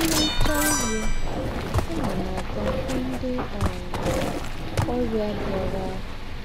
M rìchàa nrí, ànà m àgá hụ́ ńdị́ um ọ́rịà bìarà